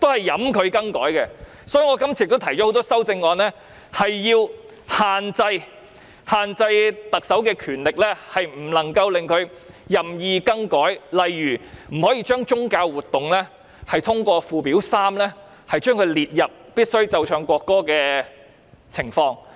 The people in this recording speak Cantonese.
因此，我今次提出了多項修正案，要求限制特首的權力，令她不能夠任意更改，例如不能把宗教活動列入附表3開列的"須奏唱國歌的場合"。